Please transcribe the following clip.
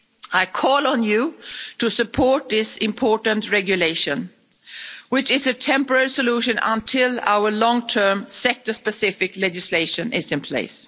I call on you to support this important regulation, which is a temporary solution until our long term sector specific legislation is in place.